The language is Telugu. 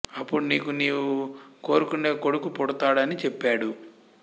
అప్పుడు నీకు నీవు కోరుకునే కొడుకు పుడతాడు అని చెప్పాడు